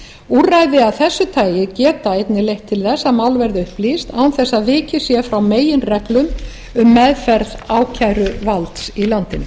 úrræði af þessu tagi geta einnig leitt til þess að mál verði upplýst án þess að vikið sé frá meginreglum um meðferð ákæruvalds í landinu